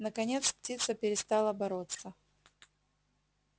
наконец птица перестала бороться